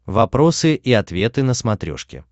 вопросы и ответы на смотрешке